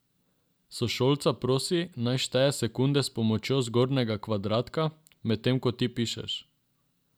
Sošolca prosi, naj šteje sekunde s pomočjo zgornjega kvadratka, medtem ko ti pišeš.